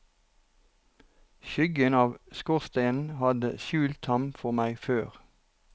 Skyggen av skorstenen hadde skjult ham for meg før.